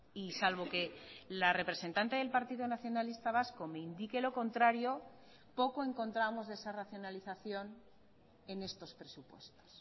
y salvo que la representante del partido nacionalista vasco me indique lo contrario poco encontramos de esa racionalización en estos presupuestos